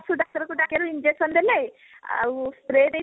ପଶୁ ଡାକ୍ତର କୁ ଡାକିବାରୁ injection ଦେଲେ ଆଉ spray ଦେଇଥିଲେ